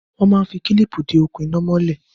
Wọ́n máa ń fi kílíìpì de okùn iná mọ́lè.